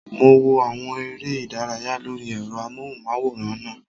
Mo wo àwọn eré ìdárayá lórí ẹ̀rọ amóhùnmáwòrán náà